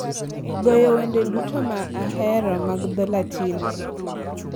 goyo wende duto ma ahero mag dho Latin